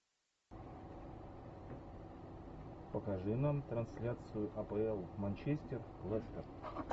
покажи нам трансляцию апл манчестер лестер